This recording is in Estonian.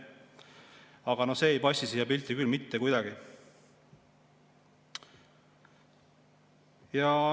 Aga no see ei passi siia pilti küll mitte kuidagi.